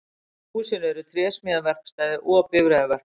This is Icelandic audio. Í húsinu er trésmíðaverkstæði og bifreiðaverkstæði